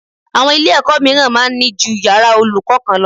Àwọn Ilé-ẹ̀kọ́ mìíràn máa ń ní ju yàrá olùkọ́ kan lọ